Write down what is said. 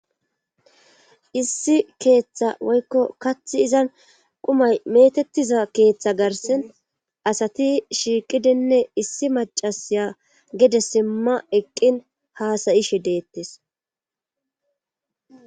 Issi keeththa woykko kathi izan qumay metettiza keeththa garsen asati shiiqidinne issi macasiya gede simma eqqin haasayishe deettes.